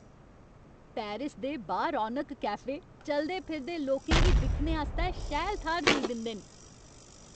Paris दे बा रौनक कैफे चलदे फिरदे लोकें गी दिक्खने आस्तै शैल थाह्र देई दिंदे न।